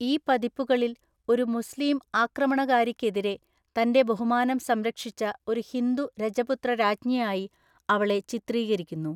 ഈ പതിപ്പുകളിൽ, ഒരു മുസ്ലീം ആക്രമണകാരിക്കെതിരെ തന്റെ ബഹുമാനം സംരക്ഷിച്ച ഒരു ഹിന്ദു രജപുത്ര രാജ്ഞിയായി അവളെ ചിത്രീകരിക്കുന്നു.